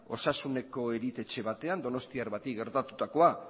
osasuneko erietxe batean donostiar bati gertatutakoa